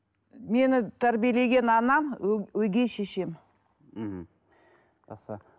мені тәрбиелеген анам өгей шешем мхм жақсы